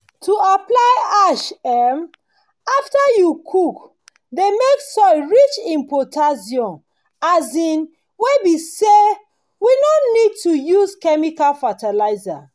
to apply ash um after you cook dey make the soil rich in potassium um wey be say we no go need use chemical fertilizers